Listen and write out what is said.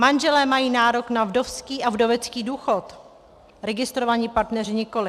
Manželé mají nárok na vdovský a vdovecký důchod, registrovaní partneři nikoli.